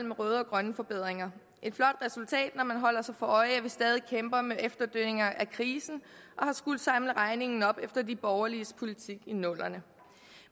med røde og grønne forbedringer et flot resultat når man holder sig for øje at vi stadig kæmper med efterdønninger af krisen og har skullet samle regningen op efter de borgerliges politik i nullerne